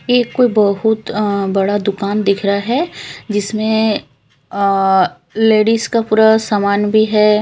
ये कोई बहोत अह बड़ा दुकान दिख रहा है जिसमें अह लेडिज का पूरा सामान भी है।